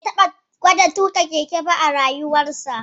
Bai taɓa gwada tuƙa keke ba a rayuwarsa